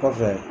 Kɔfɛ